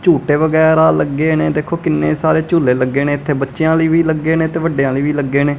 ਝੂਟੇ ਵਗੈਰਾ ਲੱਗੇ ਨੇ ਦੇਖੋ ਕਿੰਨੇ ਸਾਰੇ ਝੂਲੇ ਲੱਗੇ ਨੇ ਇੱਥੇ ਬੱਚਿਆਂ ਲਈ ਵੀ ਲੱਗੇ ਨੇ ਤੇ ਵੱਡਿਆਂ ਦੇ ਵੀ ਲੱਗੇ ਨੇ।